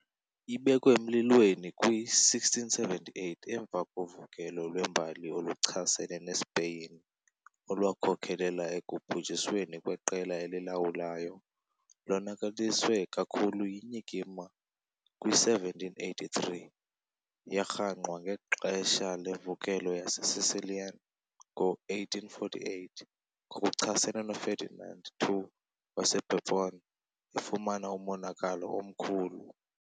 Ibekwe emlilweni kwi -1678 emva kovukelo lwembali oluchasene neSpeyin olwakhokelela ekubhujisweni kweqela elilawulayo, lonakaliswe kakhulu yinyikima kwi-1783 . Yarhangqwa ngexesha lemvukelo yaseSicilian ngo-1848 ngokuchasene noFerdinand II waseBourbon, efumana umonakalo omkhulu.